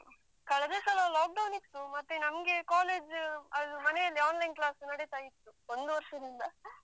ಕಳ್ದ ಸಲ lockdown ಇತ್ತು. ಮತ್ತೆ ನಮ್ಗೆ college ಅದು ಮನೆಯಲ್ಲಿ online class ನಡೀತಾ ಇತ್ತು ಒಂದು ವರ್ಷದಿಂದ.